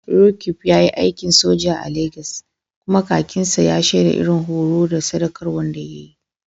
Roqeeb ya yi aikin soja a Legas, kuma kakin sa ya shaida irin horo da sadaukarwa da ya yi.